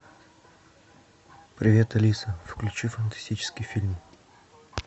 привет алиса включи фантастический фильм